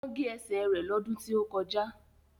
Wọ́n gé ẹsẹ̀ rẹ lọ́dún tí ó kọjá